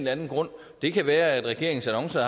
anden grund det kan være at regeringens annoncer